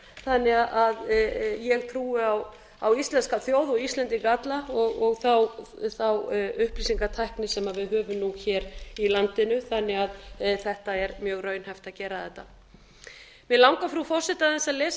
þannig að ég trúi á íslenska þjóð og íslendinga alla og þá upplýsingatækni sem við höfum nú hér í landinu þannig að það er mjög raunhæft að gera þetta mig langar frú forseti aðeins að lesa